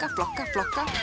flokka flokka